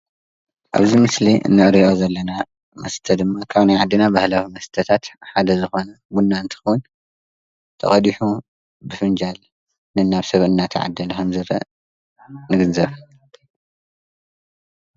ኣብዚ ምስሊ ንሪኦ ዘለና መስተ ድማ ካብ ናይ ዓድና ባህላዊ መስተታት ሓደ ዝኮነ ቡና እንትኮን ተቀዲሑ ብፍንጃል ነናብ ሰብ እና ተዓደል ከምዝመፅ ንዕዘብ ።